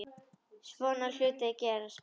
Svona hlutir gerast bara.